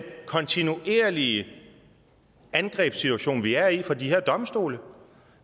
kontinuerlige angrebssituation vi er i i forhold til de her domstole